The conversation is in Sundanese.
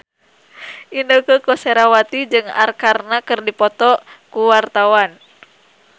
Inneke Koesherawati jeung Arkarna keur dipoto ku wartawan